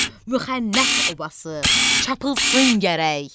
müxənnət obası çapılsın gərək.